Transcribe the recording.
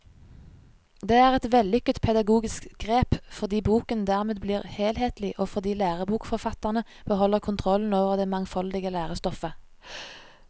Det er et vellykket pedagogisk grep, fordi boken dermed blir helhetlig og fordi lærebokforfatterne beholder kontrollen over det mangfoldige lærestoffet.